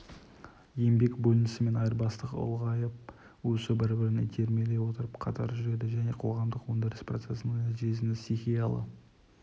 еңбек бөлінісі мен айырбастық ұлғайып өсуі бірін-бірі итермелей отырып қатар жүреді және қоғамдық өндіріс процесінің нәтижесінде стихиялы